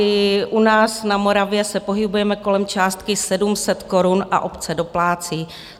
I u nás na Moravě se pohybujeme kolem částky 700 korun a obce doplácí.